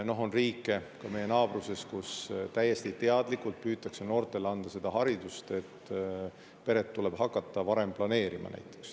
On riike, ka meie naabruses, kus täiesti teadlikult püütakse noortele anda, et peret tuleb hakata varem planeerima.